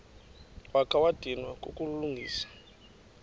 wakha wadinwa kukulungisa